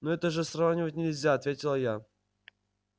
ну это же сравнивать нельзя ответила я